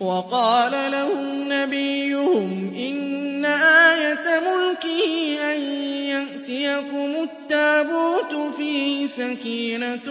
وَقَالَ لَهُمْ نَبِيُّهُمْ إِنَّ آيَةَ مُلْكِهِ أَن يَأْتِيَكُمُ التَّابُوتُ فِيهِ سَكِينَةٌ